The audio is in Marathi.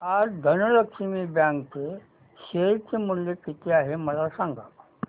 आज धनलक्ष्मी बँक चे शेअर चे मूल्य किती आहे मला सांगा